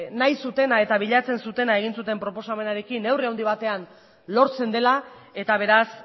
nahi zutena eta bilatzen zutena egin zuten proposamenarekin neurri handi batean lortzen dela eta beraz